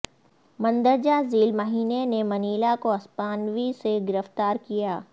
مندرجہ ذیل مہینے نے منیلا کو ہسپانوی سے گرفتار کیا